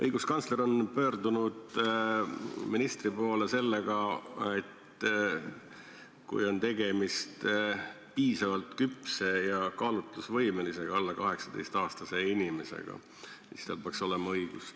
Õiguskantsler on pöördunud ministri poole sellega, et kui on tegemist piisavalt küpse ja kaalutlusvõimelise alla 18-aastase inimesega, siis tal peaks olema kõnealune õigus.